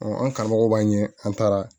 an karamɔgɔ b'a ɲɛ an taara